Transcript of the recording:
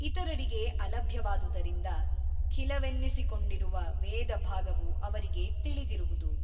ಇತರರಿಗೆ ಅಲಭ್ಯವಾದುದರಿಂದ ಖಿಲವೆನ್ನಿಸಿಕೊಂಡಿರುವ ವೇದಭಾಗವು ಅವರಿಗೆ ತಿಳಿದಿರುವುದು.